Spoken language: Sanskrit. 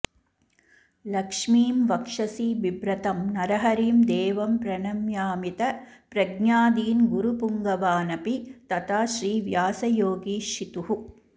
लक्ष्मीं वक्षसि बिभ्रतं नरहरिं देवं प्रणम्यामित प्रज्ञादीन् गुरुपुङ्गवानपि तथा श्रीव्यासयोगीशितुः